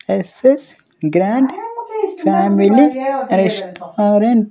SS grand family restaurant .